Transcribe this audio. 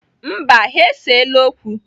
Mba, ha eseela okwu.